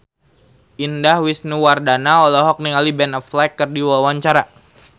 Indah Wisnuwardana olohok ningali Ben Affleck keur diwawancara